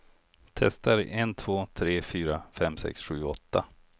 Testar en två tre fyra fem sex sju åtta.